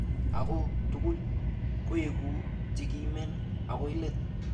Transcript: Ako tugul koeku chekimen akoi let.